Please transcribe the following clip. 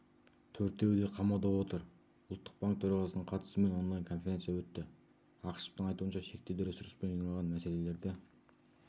төртеуі де қамауда отыр ұлттық банк төрағасының қатысуымен онлайн-конференция өтті ақышевтың айтуынша шектеулі ресурспен жиналған мәселелерді